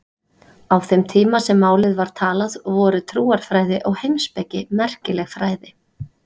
Á þeim tíma sem málið var talað voru trúarfræði og heimspeki merkileg fræði.